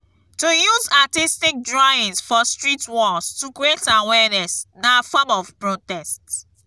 to use artistc drawings for street walls to create awearness na form of protest